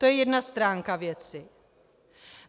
To je jedna stránka věci.